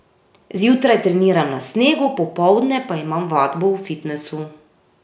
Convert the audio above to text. Zjutraj treniram na snegu, popoldne pa imam vadbo v fitnesu.